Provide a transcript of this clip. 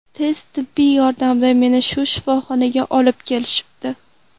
Tez tibbiy yordamda meni shu shifoxonaga olib kelishibdi.